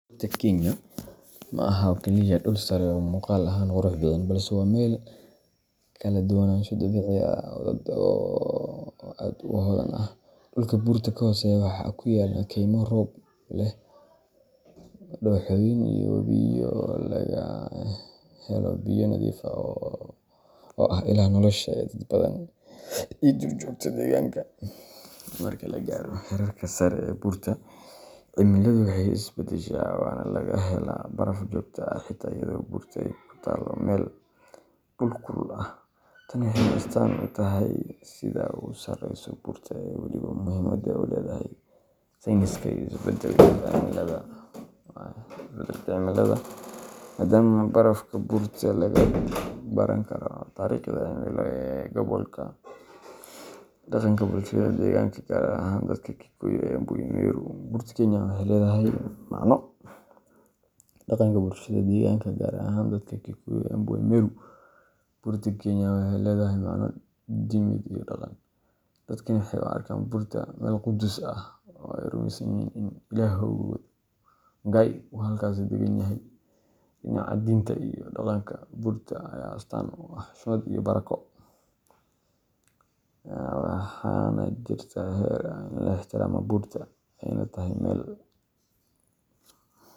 Buurta Kenya ma aha oo kaliya dhul sare oo muuqaal ahaan qurux badan, balse waa meel leh kala duwanaansho dabiici ah oo aad u hodan ah. Dhulka buurta ka hooseeya waxaa ku yaalla kaymo roob leh, dooxooyin, iyo webiyo laga helo biyo nadiif ah oo ah ilaha nolosha ee dad badan iyo duurjoogta deegaanka. Marka la gaaro heerarka sare ee buurta, cimiladu way is beddeshaa, waxaana laga helaa baraf joogto ah xitaa iyadoo buurta ay ku taallo meel dhul kulul ah. Tani waxay astaan u tahay siduu u sarreeyo buurta, iyo weliba muhiimadda ay u leedahay sayniska iyo isbeddelka cimilada, maadaama barafka buurta laga baran karo taariikhda cimilo ee gobolka. Dhaqanka bulshada deegaanka, gaar ahaan dadka Kikuyu, Embu iyo Meru, Buurta Kenya waxay leedahay macno diimeed iyo dhaqan. Dadkani waxay u arkaan buurta meel quduus ah, oo ay rumeysan yihiin in Ilaahoodu Ngai uu halkaas deggan yahay. Dhinaca diinta iyo dhaqanka, buurta ayaa astaan u ah xushmad iyo barako, waxaana jirta xeer ah in la ixtiraamo buurta, ayna tahay meel.